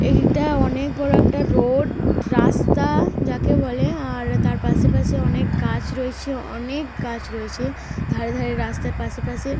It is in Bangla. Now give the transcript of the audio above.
এই দিকটা অনেক বড় একটা রোড রাস্তা যাকে বলে। আর তার পাশাপাশি অনেক গাছ রয়েছে। অনেক গাছ রয়েছে। ধারে ধারে রাস্তার পাশে পাশে।